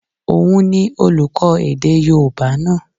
Òun ni olùkọ́ èdè yóòbá náà